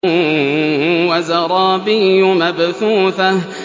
وَزَرَابِيُّ مَبْثُوثَةٌ